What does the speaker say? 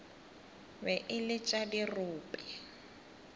be e le tša dirope